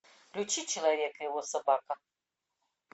включи человек и его собака